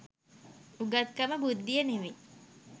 උගත්කමත් බුද්ධිය නෙවේ